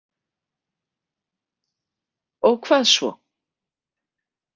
Og hvað svo?